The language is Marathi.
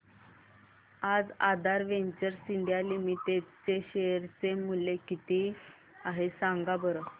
आज आधार वेंचर्स इंडिया लिमिटेड चे शेअर चे मूल्य किती आहे सांगा बरं